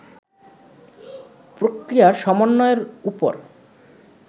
প্রক্রিয়া সমন্বয়ের উপর